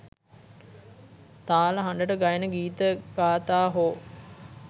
තාල හඬට ගයන ගීත ගාථා හෝ